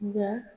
Nga